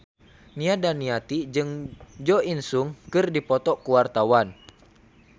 Nia Daniati jeung Jo In Sung keur dipoto ku wartawan